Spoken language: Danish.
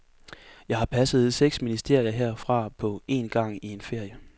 Jeg har passet seks ministerier herfra på en gang i en ferie.